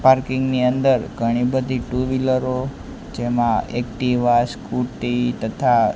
parking ની અંદર ઘણી બધી ટુ વ્હીલરો જેમા એક્ટિવા સ્કુટી તથા--